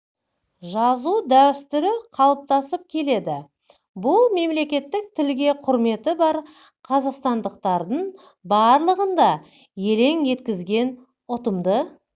жазу дәстүрі қалыптасып келеді бұл мемлекеттік тілге құрметі бар қазақстандықтардың барлығын да елең еткізген ұтымды